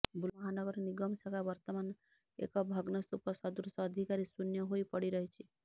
ବୁର୍ଲା ମହାନଗର ନିଗମ ଶାଖା ବର୍ତ୍ତମାନ ଏକ ଭଗ୍ନସ୍ତୁପ ସଦୃଶ ଅଧିକାରୀ ଶୁନ୍ୟ ହୋଇ ପଡି଼ ରହିଛି